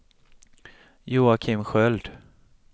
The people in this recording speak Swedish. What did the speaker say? Joakim Sköld